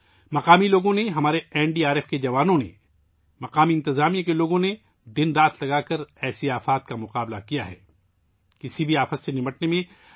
مقامی لوگوں نے ، ہمارے این ڈی آر ایف کے جوانوں ، مقامی انتظامیہ کے لوگوں نے ، اس طرح کی آفات سے نمٹنے کے لیے دن رات کام کیا ہے